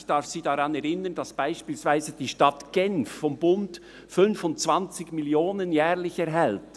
Ich darf Sie daran erinnern, dass beispielsweise die Stadt Genf vom Bund jährlich 25 Mio. Franken erhält.